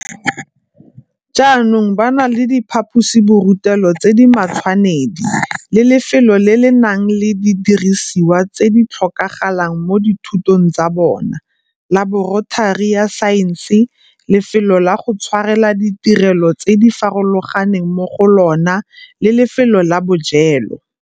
Jaanong ba na le diphaposiborutelo tse di matshwanedi le lefelo le le nang le didirisiwa tse di tlhokagalang mo dithutong tsa bona, laboratori ya saense, lefelo la go tshwarela ditirelo tse di farologaneng mo go lona le lefelo la bojelo.